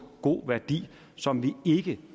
god værdi som vi ikke